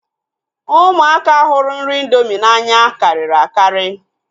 Ụmụaka hụrụ nri indomi n'anya karịrị akarị